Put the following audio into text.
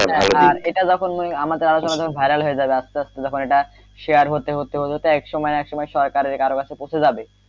এটা যখন আমাদের আলোচনা যখন viral হয়ে যাবে আস্তে আস্তে যখন এটা share হতে হতে এক সময় এক সময় সরকারের কারো কাছে পৌঁছে যাবে,